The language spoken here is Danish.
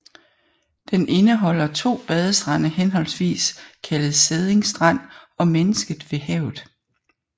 Den indeholder to badestrande henholdsvis kaldet Sædding Strand og Mennesket ved Havet